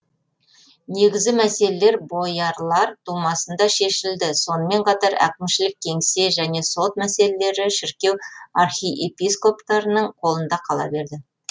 негізі мәселелер боярлар думасында шешілді сонымен қатар әкімшілік кеңсе және сот мәселелері шіркеу архиепископтарының қолында қала берді